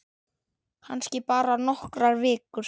Kannski bara nokkrar vikur.